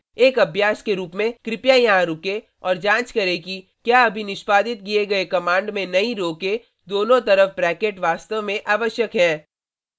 एक अभ्यास के रूप में कृपया यहाँ रुकें और जाँच करें कि क्या अभी निष्पादित किए गए कमांड में नई रो के दोनों तरफ ब्रैकेट वास्तव में आवश्यक है